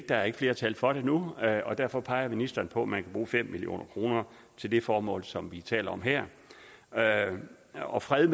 der er ikke flertal for det nu og derfor peger ministeren på at man kan bruge fem million kroner til det formål som vi taler om her her og fred